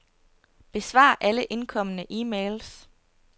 Besvar alle indkomne e-mails.